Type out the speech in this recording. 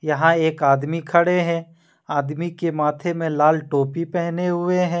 यहां एक आदमी खड़े हैं आदमी के माथे में लाल टोपी पहने हुए हैं।